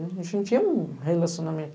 A gente não tinha um relacionamento.